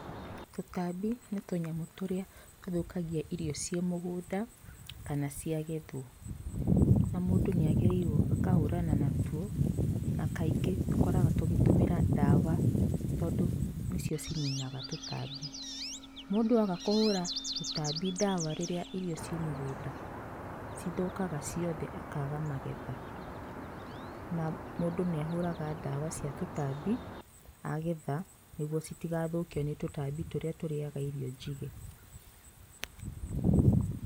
Tũtambi nĩ tũnyamũ tũrĩa tũthũkagia irio ciĩmũgũnada kana ciagethwo na mũndũ nĩagĩrĩirwo ũkahũrana natuo na kaingĩ tũkoragwo tũkĩtũmĩra ndawa tondũ nĩcio cininaga tũtambi, mũndũ aga kũhura tũtambi ndawa rĩrĩaũirio ciĩmũgúnda cithũkaga ciothe ikaga magetha. Na mũndũ nĩahuraga ndawa cia tũtambi agetha nĩguo citikathũkwe nĩ tũtambi tũrĩa tũriaga irio njige.